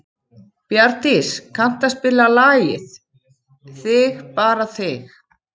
Bjarndís, kanntu að spila lagið „Þig bara þig“?